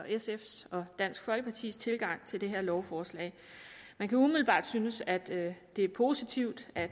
sf’s og dansk folkepartis tilgang til det her lovforslag man kan umiddelbart synes at det er positivt at